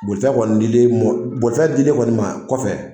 Boli ta kɔni dilen i ma, bolifɛn dilen kɔni i ma kɔfɛ